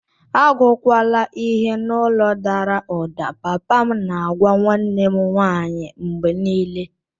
Agụkwala ihe n'olu dara ụda, papa m na-agwa nwanne m nwanyị mgbe niile.